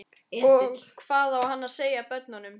Og hvað á hann að segja börnunum?